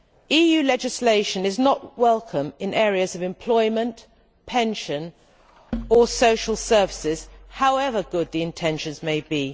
EU legislation is not welcome in the fields of employment, pensions or social services, however good the intentions may be.